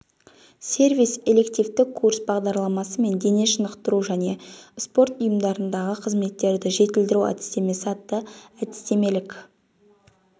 сервис элективті курс бағдарламасы мен дене шынықтыру және спорт ұйымдарындағы қызметтерді жетілдіру әдістемесі атты әдістемелік